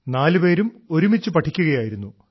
നാലുപേരും ഒരുമിച്ച് പഠിക്കുകയായിരുന്നു